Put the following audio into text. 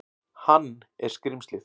Hann er skrímslið.